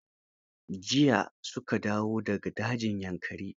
Jiya su ka dawo da ga dajin Yankari.